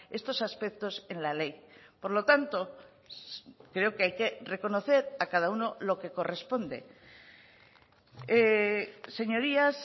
estos aspectos en la ley por lo tanto creo que hay que reconocer a cada uno lo que corresponde señorías